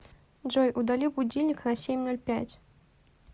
джой удали будильник на семь ноль пять